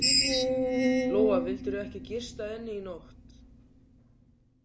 Lóa: Vildirðu ekki gista inni í nótt?